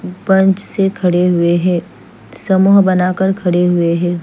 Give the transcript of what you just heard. पंच से खड़े हुए है समो बना कर खड़े हुए है।